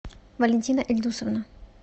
валентина ильдусовна